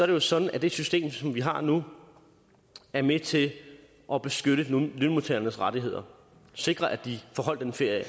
det jo sådan at det system som vi har nu er med til at beskytte lønmodtagernes rettigheder og sikre at de får holdt ferie